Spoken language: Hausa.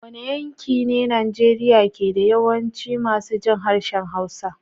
Wane yanki ne Najeriya ke da yawancin masu jin harshen Hausa?